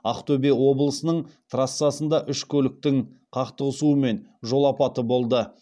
ақтөбе облысының трассасында үш көліктің қақтығысуымен жол апаты болды